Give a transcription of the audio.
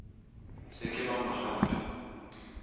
se ke ba mo lata